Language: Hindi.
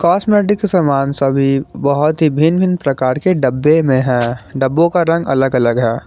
कॉस्मेटिक से सामान सभी बहुत ही भिन्न भिन्न प्रकार के डब्बे में है डब्बों का रंग अलग अलग है।